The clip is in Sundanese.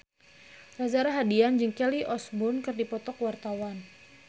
Reza Rahardian jeung Kelly Osbourne keur dipoto ku wartawan